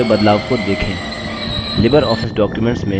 colour में हुए बदलाव को देखें